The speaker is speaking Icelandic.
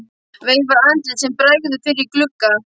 Veifar andliti sem bregður fyrir í glugga.